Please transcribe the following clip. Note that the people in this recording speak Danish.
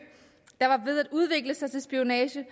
der var ved at udvikle sig til spionage